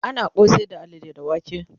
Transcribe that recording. ana kosai da alalle da wake